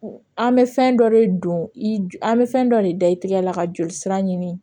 An bɛ fɛn dɔ de don i bɛ fɛn dɔ de da i tɛgɛ la ka joli sira ɲini